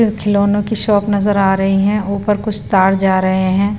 खिलौनों की शॉप नजर आ रही है ऊपर कुछ तार जा रहे हैं।